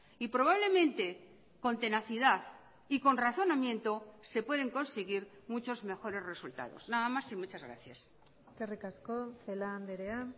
y probablemente con tenacidad y con razonamiento se pueden conseguir muchos mejores resultados nada más y muchas gracias eskerrik asko celaá andrea